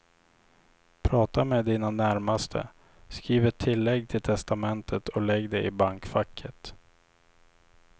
Prata med dina närmaste, skriv ett tillägg till testamentet och lägg det i bankfacket.